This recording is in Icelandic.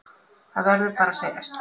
Það verður bara að segjast.